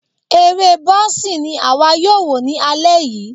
Eré boxing ni àwa yóò wò ní alẹ́ yìí.